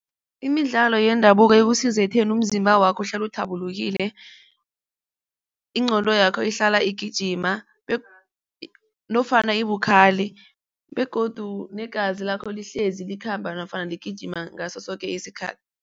Imidlalo yendabuko ikusiza ekutheni umzimba wakho uhlale uthabulukile, ingqondo yakho ihlala igijima nofana ibukhali. Begodu negazi lakho lihlezi likhamba nofana ligijima ngaso soke isikhathi.